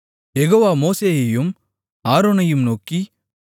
யெகோவா மோசேயையும் ஆரோனையும் நோக்கி